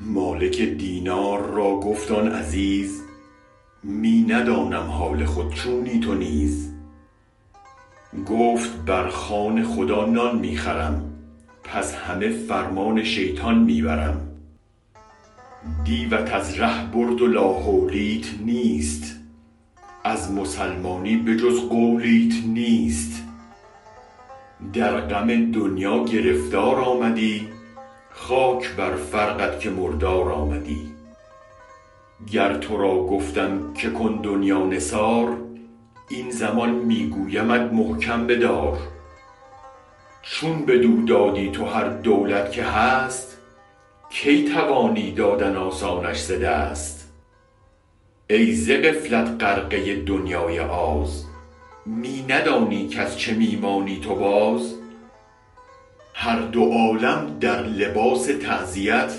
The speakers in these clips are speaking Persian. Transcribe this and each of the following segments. مالک دینار را گفت آن عزیز من ندانم حال خود چونی تو نیز گفت برخوان خدا نان می خورم پس همه فرمان شیطان می برم دیوت از ره برد و لاحولیت نیست از مسلمانی به جز قولیت نیست در غم دنیا گرفتارآمدی خاک بر فرقت که مردار آمدی گر ترا گفتم که کن دنیا نثار این زمان می گویمت محکم بدار چون بدو دادی تو هر دولت که هست کی توانی دادن آسانش ز دست ای ز غفلت غرقه دریای آز می ندانی کز چه می مانی تو باز هر دو عالم در لباس تعزیت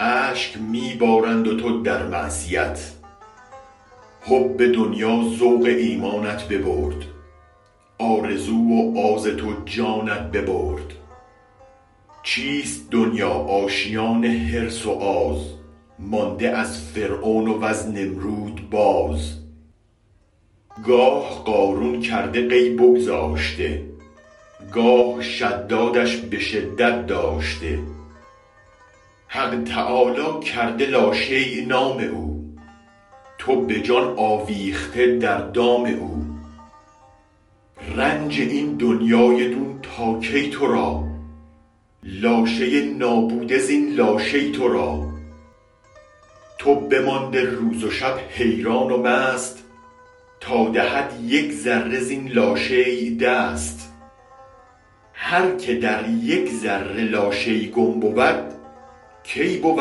اشک می بارند و تو در معصیت حب دنیا ذوق ایمانت ببرد آرزو و آز تو جانت ببرد چیست دنیا آشیان حرص و آز مانده از فرعون وز نمرود باز گاه قارون کرده قی بگذاشته گاه شدادش به شدت داشته حق تعالی کرده لاشی نام او تو به جان آویخته در دام او رنج این دنیای دون تا کی ترا لاشه نابوده زین لاشی ترا تو بمانده روز و شب حیران و مست تا دهد یک ذره زین لاشیء دست هرک در یک ذره لاشی گم بود کی بود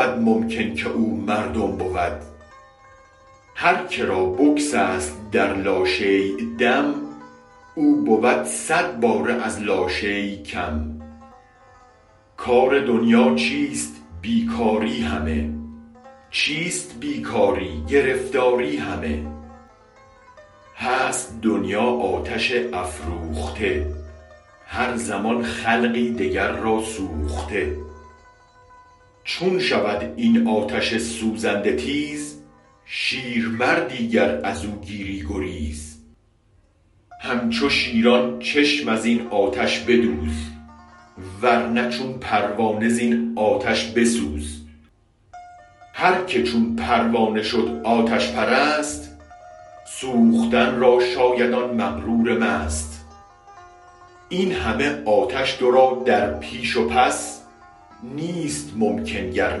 ممکن که او مردم بود هرک رابگسست در لاشیء دم او بود صد باره از لاشی کم کار دنیا چیست بی کاری همه چیست بی کاری گرفتاری همه هست دنیا آتش افروخته هر زمان خلقی دگر را سوخته چون شود این آتش سوزنده تیز شیرمردی گر ازو گیری گریز همچو شیران چشم ازین آتش بدوز ورنه چون پروانه زین آتش بسوز هرک چون پروانه شد آتش پرست سوختن را شاید آن مغرور مست این همه آتش ترا در پیش و پس نیست ممکن گر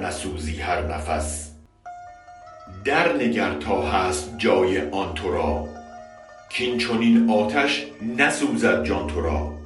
نسوزی هر نفس درنگر تا هست جای آن ترا کین چنین آتش نسوزد جان ترا